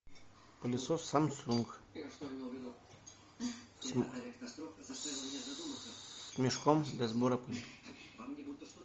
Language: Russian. пылесос самсунг с мешком для сбора пыли